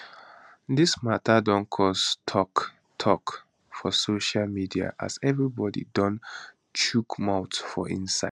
dis mata don cause tok tok for social media as everybody don chook mouth for inside